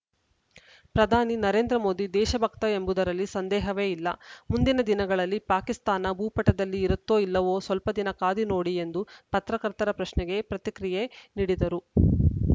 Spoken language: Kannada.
ಪ್ರಧಾನಿ ನರೇಂದ್ರ ಮೋದಿ ದೇಶಭಕ್ತ ಎಂಬುದರಲ್ಲಿ ಸಂದೇಹವೇ ಇಲ್ಲ ಮುಂದಿನ ದಿನಗಳಲ್ಲಿ ಪಾಕಿಸ್ತಾನ ಭೂಪಟದಲ್ಲಿ ಇರುತ್ತೋ ಇಲ್ಲವೋ ಸ್ವಲ್ಪ ದಿನ ಕಾದಿ ನೋಡಿ ಎಂದು ಪತ್ರಕರ್ತರ ಪ್ರಶ್ನೆಗೆ ಪ್ರತಿಕ್ರಿಯೆ ನೀಡಿದರು